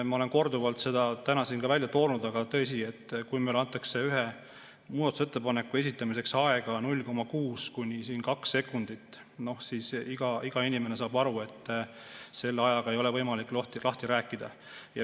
Ma olen korduvalt seda täna siin välja toonud, aga tõsi, kui meile antakse ühe muudatusettepaneku esitamiseks aega 0,6–2 sekundit, siis iga inimene saab aru, et selle ajaga ei ole võimalik seda lahti rääkida.